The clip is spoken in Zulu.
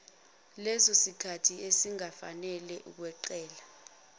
lesosikhathi esingafanele ukweqela